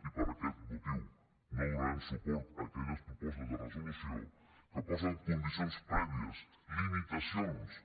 i per aquest motiu no donarem suport a aquelles propostes de resolució que posen condicions prèvies limitacions